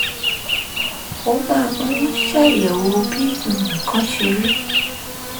ó máa ń ṣàyẹ̀wò bí nǹkan ṣe rí